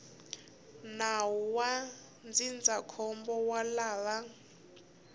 nawu wa ndzindzakhombo wa lava